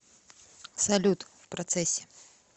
салют в процессе